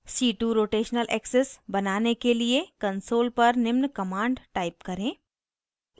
c2 rotational axis बनाने के लिए : console पर निम्न command type करें